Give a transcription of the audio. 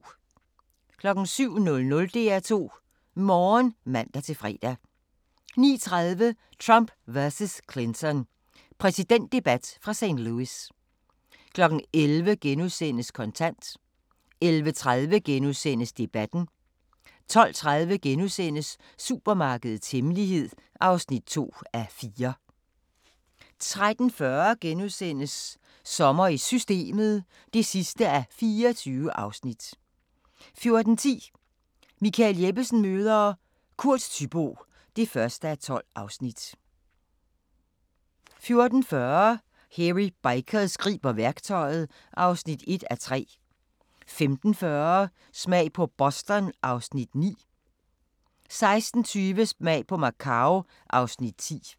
07:00: DR2 Morgen (man-fre) 09:30: Trump vs. Clinton – præsidentdebat fra St. Louis 11:00: Kontant * 11:30: Debatten * 12:30: Supermarkedets hemmelighed (2:4)* 13:40: Sommer i Systemet (24:24)* 14:10: Michael Jeppesen møder ... Kurt Thyboe (1:12) 14:40: Hairy Bikers griber værktøjet (1:3) 15:40: Smag på Boston (Afs. 9) 16:20: Smag på Macau (Afs. 10)